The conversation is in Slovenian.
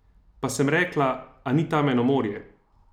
Pa sem rekla, a ni tam eno morje?